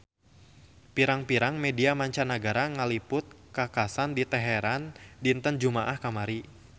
Pirang-pirang media mancanagara ngaliput kakhasan di Teheran dinten Jumaah kamari